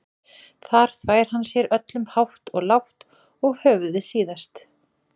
Þar þvær hann sér öllum hátt og lágt og höfuðið síðast.